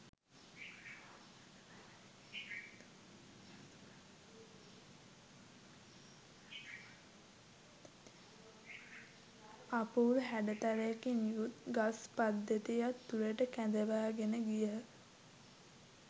අපුරු හැඩතලයකින් යුත් ගස් පද්ධතියක් තුළට කැඳවාගෙන ගියහ.